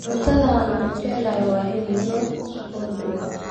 Cuntada aan ugu jecelahay waa hilib lo'aad oo duban.